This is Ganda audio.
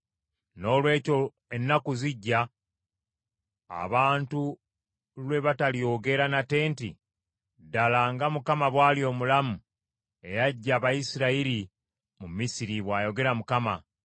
“Noolwekyo ennaku zijja, abantu lwe batalyogera nate nti, ‘Ddala nga Mukama bwali omulamu eyaggya Abayisirayiri mu Misiri,’ bwayogera Mukama ,